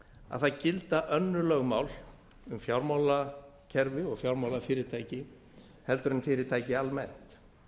að það gilda önnur lögmál um fjármálakerfi og fjármálafyrirtæki heldur en fyrirtæki almennt